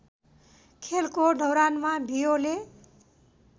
खेलको दौरानमा बियोले